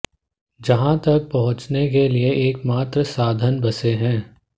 यहाँ तक पहुचने के लिए एकमात्र साधन बसे है